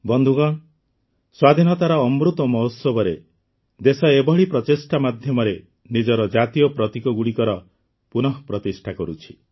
ବନ୍ଧୁଗଣ ସ୍ୱାଧୀନତାର ଅମୃତ୍ ମହୋତ୍ସବରେ ଦେଶ ଏଭଳି ପ୍ରଚେଷ୍ଟା ମାଧ୍ୟମରେ ନିଜର ଜାତୀୟ ପ୍ରତୀକଗୁଡ଼ିକର ପୁନଃପ୍ରତିଷ୍ଠା କରୁଛି